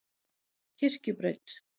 Kirkjubraut